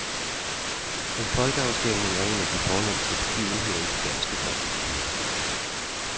En folkeafstemning er en af de fornemste begivenheder i det danske folkestyre.